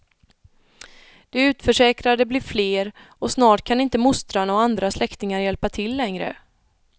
De utförsäkrade blir fler och snart kan inte mostrarna och andra släktingar hjälpa till längre.